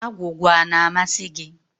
Agwụgwa a na-amasị gị?